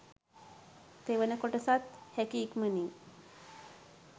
තෙවන කොටසත් හැකි ඉක්මනින්